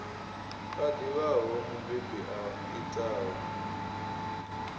a ḓivhaho mubebi a itaho